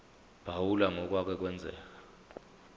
phawula ngokwake kwenzeka